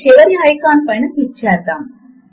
మరియు వ్రైటర్ ఏరియాలో మన తేలికైన సూత్రము